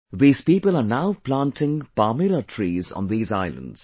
These people are now planting Palmyra trees on these islands